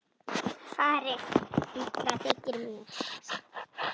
Farin illa þykir mér.